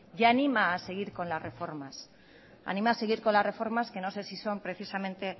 y anima a seguir con las reformas anima a seguir con las reformas que no sé si son precisamente